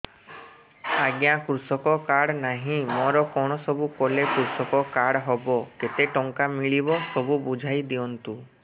ଆଜ୍ଞା କୃଷକ କାର୍ଡ ନାହିଁ ମୋର କଣ ସବୁ କଲେ କୃଷକ କାର୍ଡ ହବ କେତେ ଟଙ୍କା ମିଳିବ ସବୁ ବୁଝାଇଦିଅନ୍ତୁ